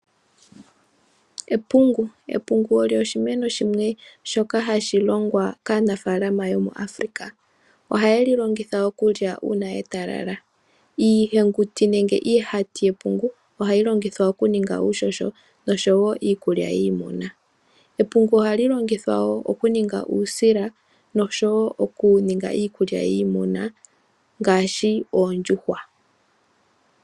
Epungu, epungu olyo oshimeno shimwe hashi longwa kaanafaalama yomuAfrika, ohayeli longitha okulya uuna etalala , iihenguti nenge iihati yepungu ohayi longithwa okuninga uuhoho nosho wo iikulya yiimuna. epungu ohali longithwa wo okuninga uusila nosho wo okuninga iikulya yiimuna ngaashi oondjuhwa.